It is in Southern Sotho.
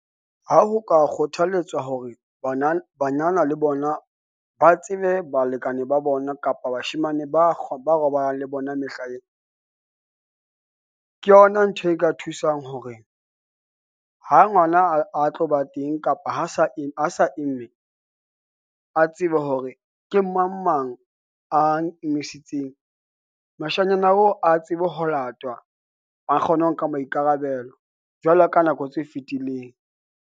Ha ho ka kgothaletswa hore banana banana le bona ba tsebe balekane ba bona, kapa bashemane ba ba robalang le bona mehlaena. Ke yona ntho e ka thusang hore ha ngwana a a tlo ba teng kapa ha sa eng, ha sa imme, a tsebe hore ke mang mang a ng emisitseng. Moshanyana oo, a tsebe ho latwa a kgone ho nka maikarabelo jwalo ka nako tse fetileng.